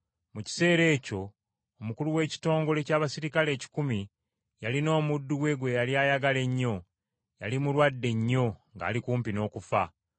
Mu kiseera ekyo, omukulu w’ekitongole ky’abaserikale ekikumi, yalina omuddu we gwe yali ayagala ennyo, yali mulwadde nnyo ng’ali kumpi n’okufa.